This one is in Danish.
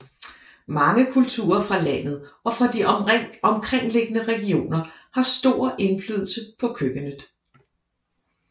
Mange kulturer fra landet og fra de omkringliggende regioner har stor indflydelse på køkkenet